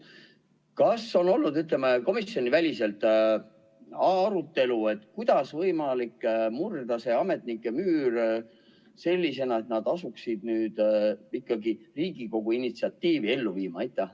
Kas on olnud komisjoniväliselt arutelu, kuidas on võimalik murda see ametnike müür, et nad asuksid ikkagi Riigikogu initsiatiivi ellu viima?